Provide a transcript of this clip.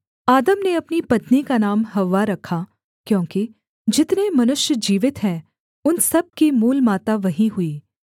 आदम ने अपनी पत्नी का नाम हव्वा रखा क्योंकि जितने मनुष्य जीवित हैं उन सब की मूलमाता वही हुई